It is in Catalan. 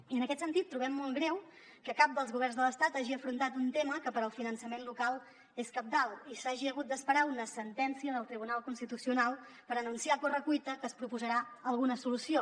i en aquest sentit trobem molt greu que cap dels governs de l’estat hagi afrontat un tema que per al finançament local és cabdal i s’hagi hagut d’esperar a una sentència del tribunal constitucional per anunciar a correcuita que es proposarà alguna solució